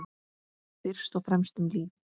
Fyrst og fremst um líf.